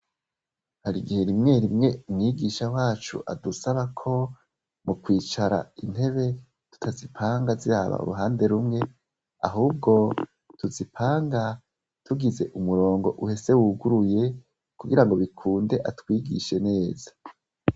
Hari igihe rimwe rimwe umwigisha wacu adusaba ko mu kwicara intebe tutazipanga zaba uruhande rumwe ahubwo tuzipanga tugize umurongo uhese wuguruye kugira ngo bikunde atwigishe neza.